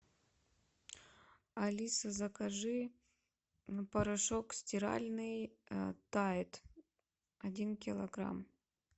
алиса закажи порошок стиральный тайд один килограмм